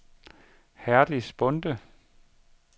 Herdis Bonde